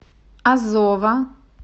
азова